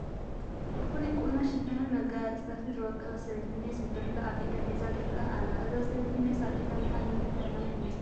ብፍሉይ ቁኖ፣ ሹፈንን መጋየፅታትን ዝወቀበት ሰበይቲ ሜስ ብብርለ ኣብ ኢዳ ሒዛ ትርአ ኣላ፡፡ እዛ ሰበይቲ ሜስ ኣብ ኢዳ ምሓዛ ንምንታይ ዕላማ ይመስል?